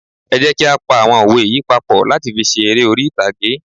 Ẹ jẹ́ kí á pa àwọn òwe yí papọ̀ láti fi ṣe eré orí ìtàgé.